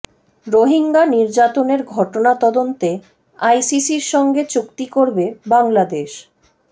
রোহিঙ্গা নির্যাতনের ঘটনা তদন্তে আইসিসির সঙ্গে চুক্তি করবে বাংলাদেশ